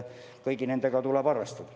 Kõigi nendega tuleb arvestada.